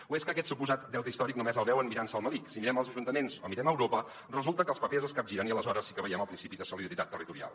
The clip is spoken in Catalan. o és que aquest suposat deute històric només el veuen mirant se el melic si mirem els ajuntaments o mirem a europa resulta que els papers es capgiren i aleshores sí que veiem el principi de solidaritat territorial